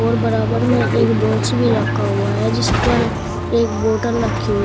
बराबर में एक बॉक्स भी रखा हुआ है जिस पर एक बोतल रखी हुई है।